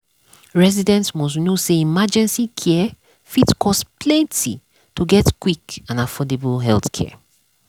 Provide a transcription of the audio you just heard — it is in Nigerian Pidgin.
residents must know say emergency care fit cost plenty to get quick and affordable healthcare.